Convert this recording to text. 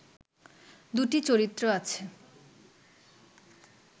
দুটি চরিত্র আছে